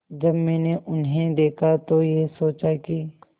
जब मैंने उन्हें देखा तो ये सोचा कि